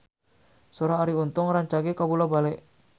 Sora Arie Untung rancage kabula-bale